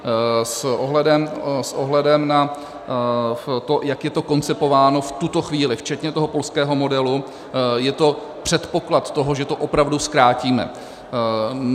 S ohledem na to, jak je to koncipováno v tuto chvíli, včetně toho polského modelu, je to předpoklad toho, že to opravdu zkrátíme.